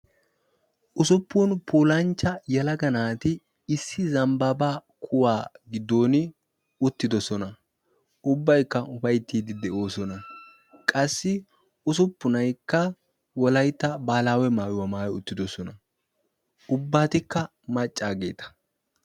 Usuppun puulanchcha yelaga naati issi zambbaabaa kuwaa giddon uttidosona. Ubbaykka ufayttiiddi de'oosona. Qassi usuppunaykka Wolaytta baahilaawe maayuwa maayi uttidosona. Ubbatikka maccaageeta.